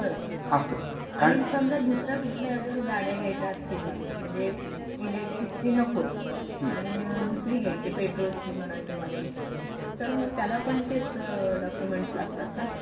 आणि समझ दुसऱ्या कुठल्या गाड्या घायचा असतील मला म्हणजे इलेक्ट्रिकची नकोय आणि दुसरी घ्यायची पेट्रोलची म्हणा किंवा अशी तर मग त्याला पण तेच डॉक्युमेंट्स लागतात का?